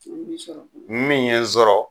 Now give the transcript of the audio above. Mun y'i sɔrɔ? Min ye n sɔrɔ